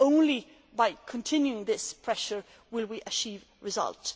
Only by continuing this pressure will we achieve results.